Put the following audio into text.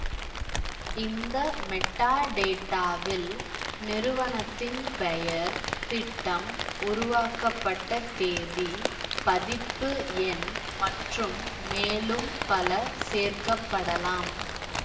இந்த மெட்டாடேட்டாவில் நிறுவனத்தின் பெயர் திட்டம் உருவாக்கப்பட்ட தேதி பதிப்பு எண் மற்றும் மேலும் பல சேர்க்க படலாம்